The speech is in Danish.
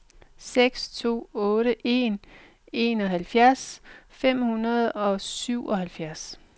seks to otte en enoghalvfjerds fem hundrede og syvoghalvfjerds